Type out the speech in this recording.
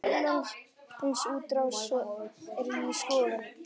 Erlend útrás er í skoðun.